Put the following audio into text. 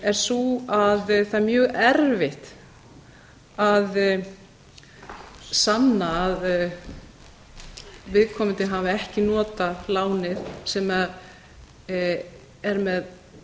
er sú að það er ég erfitt að sanna að viðkomandi hafi ekki notað lánið sem það er með